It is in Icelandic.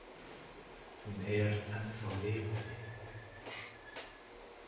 Hún er ennþá lifandi.